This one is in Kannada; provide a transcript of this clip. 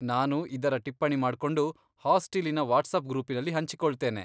ನಾನು ಇದರ ಟಿಪ್ಪಣಿ ಮಾಡ್ಕೊಂಡು, ಹಾಸ್ಟಿಲಿನ ವಾಟ್ಸಾಪ್ ಗ್ರೂಪಿನಲ್ಲಿ ಹಂಚಿಕೊಳ್ತೇನೆ.